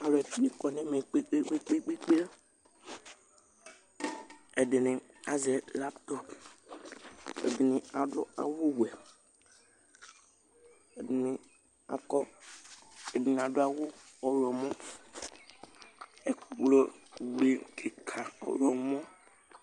Alʋɛdìní kɔ nʋ ɛmɛ kpe kpe kpe kpe Ɛdiní azɛ laptɔp Ɛdiní adu awu wɛ Ɛdiní adu awu ɔwlɔmɔ Ɛkplɔ be kìka ɔwlɔmɔ